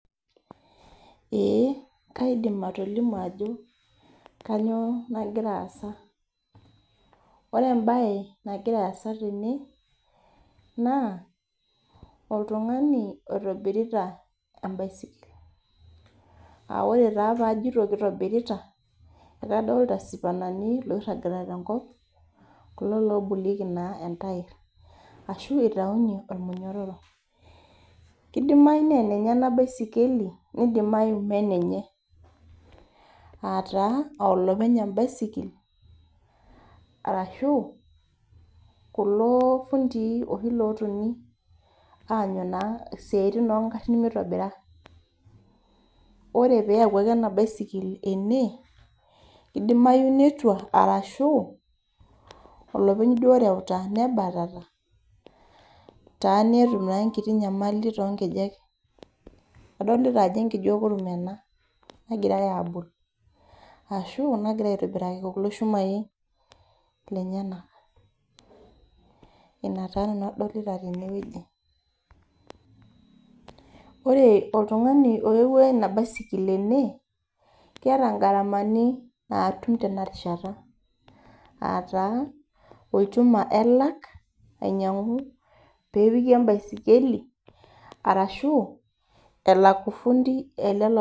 Eeeh kaidim atolimu ajo kanyioo nagira aasa ore embaye nagira aasa tene naa oltung'ani oitobirita em'baisikil, naa ore taa paajito nejia ekadoolita CS[spanners]CS oirragita te nkop kulo lobolieki naa entairr kidimayu naa enenye ena baisikeli nidimayu ma enenye aa taa oo lopeny em'baisikil arashu kulo fundii oshi lotoni aanyu naa siatin oo ingarrin meitobira ore peeyawuaki ena baisikil ene naa kedimayu netua arashu olopeny duo oreuta nebatata netum taa enkiti nyamali too ngejek adolita ajo enkeju ekurum ena nagirai aabol arashu nagirai aitobiraki kulo shumai lenyenak ina taa nanu adolita tene woji ore oltung'ani oyawua ina baisikil ene keeta CS[Garama]CS naatum tena kata olchuma elak ainyang'u nepiki em'baisikil nelak ofundi.